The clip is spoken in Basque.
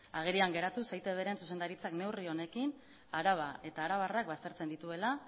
agerian geratuz eitbren zuzendaritzak neurri honekin araba eta arabarrak baztertzen dituela